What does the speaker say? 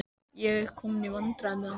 Ég er kominn í vandræði með hana.